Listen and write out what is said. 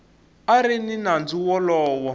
a ri ni nandzu wolowo